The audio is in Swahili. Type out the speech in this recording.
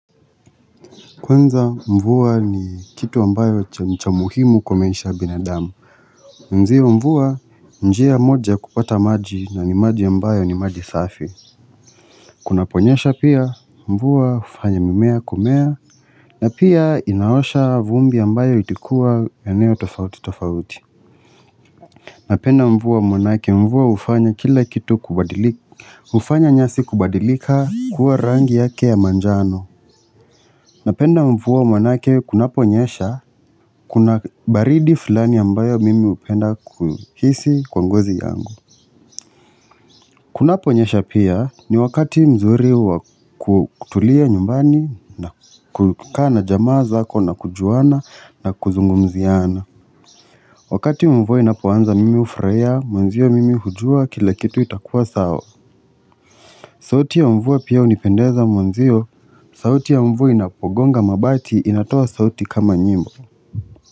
Kwanza mvua ni kitu ambayo cha nichamuhimu kwa maisha ya binadamu Nziwa mvua njia moja kupata maji na ni maji ambayo ni maji safi Kunapo nyesha pia mvua ufanya mimea kumea na pia ina osha vumbi ambayo ilikuwa eneo tofauti tofauti Napenda mvua manake mvua ufanya kila kitu kubadilika ufanya nyasi kubadilika kuwa rangi yake ya manjano Napenda mvua manake kunapo nyesha, kuna baridi fulani ambayo mimi upenda kuhisi kwa ngozi yangu. Kunapo nyesha pia ni wakati mzuri wa kutulia nyumbani na kukaa jamaa zako na kujuana na kuzungumziana. Wakati mvua inapo anza mimi ufurahiya, mwanzio mimi hujua kila kitu itakua sawa. Sauti ya mvua pia unipendeza mwanzio, sauti ya mvua inapogonga mabati inatoa sauti kama nyimbo.